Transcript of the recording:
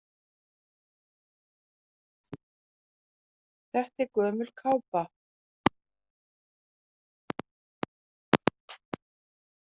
Þetta er gömul kápa.